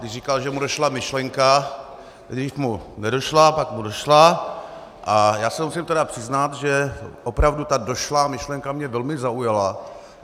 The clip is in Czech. Když říkal, že mu došla myšlenka, nejdřív mu nedošla, pak mu došla, a já se musím tedy přiznat, že opravdu ta došlá myšlenka mě velmi zaujala.